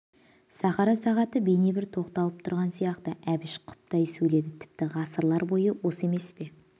сахара сағаты бейне бір тоқталып тұрған сияқты әбіш құптай сөйледі тіпті ғасырлар бойы осы емес пе